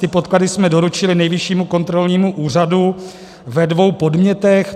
Ty podklady jsme doručili Nejvyššímu kontrolnímu úřadu ve dvou podnětech.